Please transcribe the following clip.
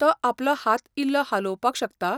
तो आपलो हात इल्लो हालोवपाक शकता?